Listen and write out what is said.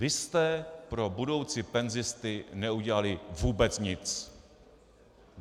Vy jste pro budoucí penzisty neudělali vůbec nic.